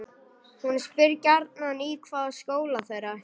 Hún spyr gjarnan í hvaða skóla þeir ætli.